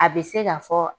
A bɛ se ka fɔ